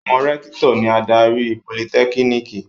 Àwọn rẹ́kítọ̀ ni adarí politẹ́kíníkì.